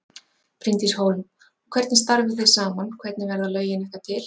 Bryndís Hólm: Og hvernig starfið þið saman, hvernig verða lögin ykkar til?